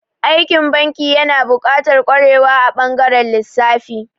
Aikin banki yana buƙatar ƙwarewa a ɓangaren lissafi.